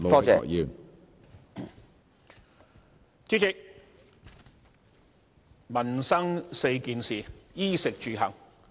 主席，民生4件事是衣、食、住、行。